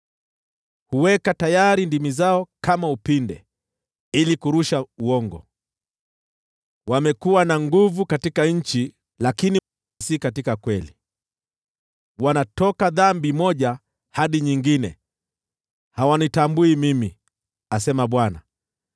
“Huweka tayari ndimi zao kama upinde, ili kurusha uongo; wamekuwa na nguvu katika nchi lakini si katika ukweli. Wanatoka dhambi moja hadi nyingine, hawanitambui mimi,” asema Bwana .